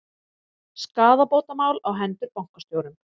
Skaðabótamál á hendur bankastjórum